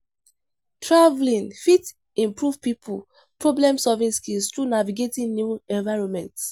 Traveling fit improve pipo problem-solving skills through navigating new environments.